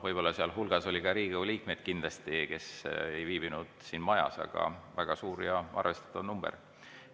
Sealhulgas oli kindlasti ka Riigikogu liikmeid, kes ei viibinud siin majas, aga siiski on see väga suur ja arvestatav number.